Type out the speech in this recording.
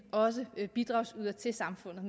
også bliver bidragsydere til samfundet